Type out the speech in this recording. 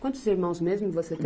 Quantos irmãos mesmo você